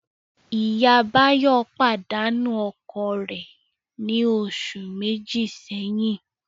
Ìyá Báyọ̀ pàdánù ọkọ rẹ̀ ní oṣù méjì sẹ́yìn